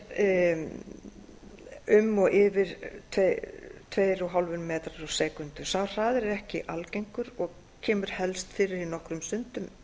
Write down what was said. um og yfir tuttugu og fimm m sek sá hraði er ekki algengur og kemur helst fyrir í nokkrum sundum